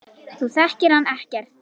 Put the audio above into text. Þú þekkir hann ekkert.